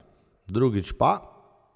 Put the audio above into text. Drugič pa ...